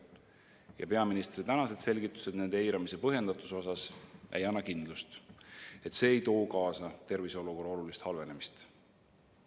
Ja peaministri tänased selgitused nende eiramise põhjendatusele ei anna kindlust, et see ei too kaasa terviseolukorra olulist halvenemist.